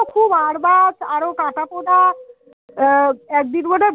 খুব আর বার আরো কাটা পোনা একদিন মনে হয়